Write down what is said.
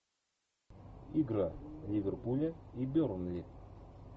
игра ливерпуля и бернли